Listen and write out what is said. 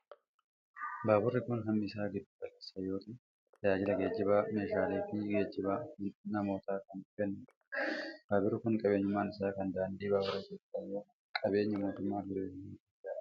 Baaburri kun hammi isaa giddu galeessa yoo ta'u, tajaajila geejiba meeshaalee fi geejiba namootaa kan kennuu dha. Baaburri kun qabeenyummaan isaa kan daandii baabura Itoophiyaa yoo ta'u qabeenya mootummaa ferderaalaa Itoophiyaa dha.